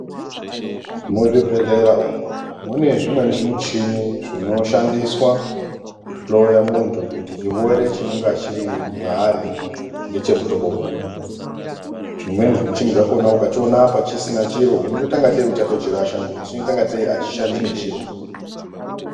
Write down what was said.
Muzvibhedhlera umu, mune zvimweni zvimuchini, zvinoshandiswa kuhloya munthu kuti chirwere chinonga chiri mwaari ngechemuhlobo uri. Zvimweni zvimichini zvakhona ukachiona apa chisina chiro unotoita ungatei uchatochirasha ngekuti chinoita ungatei achishandi nechiro.